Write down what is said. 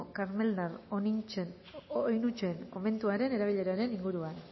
karmeldar oinutsen komentuaren erabileraren inguruan